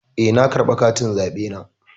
Eh, na karɓa katin zaɓena.